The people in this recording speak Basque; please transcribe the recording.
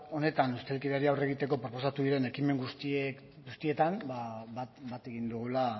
honetan ustelkeriari aurre egiteko proposatu diren ekimen guztietan ba bat egin dugula